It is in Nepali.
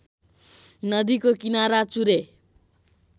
नदीको किनारा चुरे